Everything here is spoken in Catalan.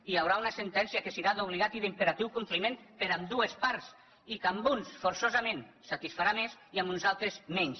i hi haurà una sentència que serà d’obligat i d’imperatiu compliment per ambdues parts i que a uns forçosament satisfarà més i a uns altres menys